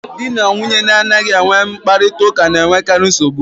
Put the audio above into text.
Di na nwunye na-anaghị enwe mkparịta ụka na-enwekarị nsogbu.